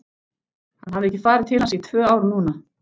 Hann hafði ekki farið til hans í tvö ár núna.